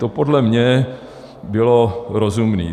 To podle mne bylo rozumné.